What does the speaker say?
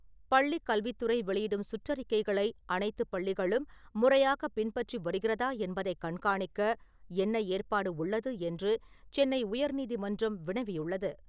பள்ளிக் கல்வித்துறை வெளியிடும் சுற்றறிக்கைகளை அனைத்துப் பள்ளிகளும் முறையாக பின்பற்றி வருகிறதா என்பதைக் கண்காணிக்க என்ன ஏற்பாடு உள்ளது என்று சென்னை உயர்நீதிமன்றம் வினவியுள்ளது.